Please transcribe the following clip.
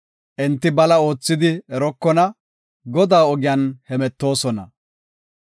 Enti bala oothidi erokona; Godaa ogiyan hemetoosona.